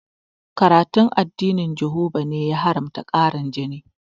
Karatun addinin jihoba ne ya haramta ƙarin jini